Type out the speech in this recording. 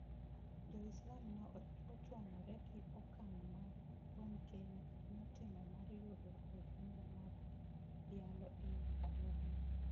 Jo Islam ne ochwanyore gi okang' ma Bonnke notimo mar yudo ohinga mar yalo e aluora no.